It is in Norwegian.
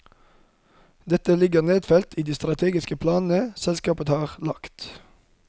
Dette ligger nedfelt i de strategiske planene selskapet har lagt.